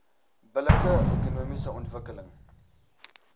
billike ekonomiese ontwikkeling